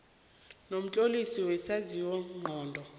nomtlolisi wokwenziwa ngcono